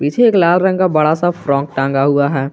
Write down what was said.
पीछे एक लाल रंग का बड़ा सा फ्रॉक टांगा हुआ है।